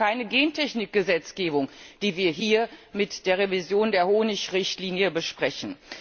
Es ist auch keine Gentechnik Gesetzgebung, die wir hier mit der Revision der Honig Richtlinie besprechen.